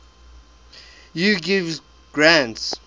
eu gives grants